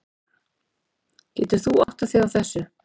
Getur þú áttað þig á þessu?